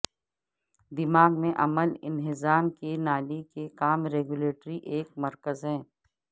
دماغ میں عمل انہضام کی نالی کے کام ریگولیٹری ایک مرکز ہے